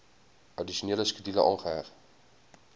addisionele skedule aangeheg